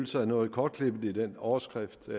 sig noget kortklippet i den overskrift